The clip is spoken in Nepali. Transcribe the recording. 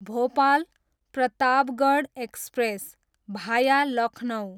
भोपाल, प्रतापगढ एक्सप्रेस, भाया लखनउ